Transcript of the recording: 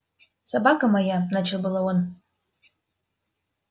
собака моя начал было он